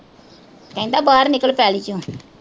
ਕਹਿੰਦਾ ਬਾਹਰ ਨਿਕਲ ਪੈਲੀ ਚੋਂ